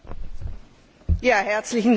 Herzlichen Dank für diese Frage.